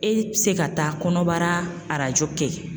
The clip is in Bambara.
E bɛ se ka taa kɔnɔbara arajo kɛ